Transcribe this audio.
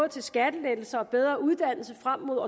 til skattelettelser og bedre uddannelse frem mod